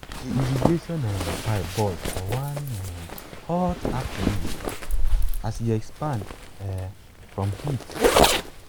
the irrigation um pipe burst for one um hot afternoon as e expand um from heat.